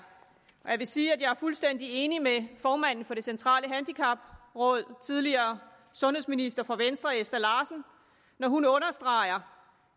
jeg vil sige at jeg er fuldstændig enig med formanden for det centrale handicapråd den tidligere sundhedsminister for venstre ester larsen når hun understreger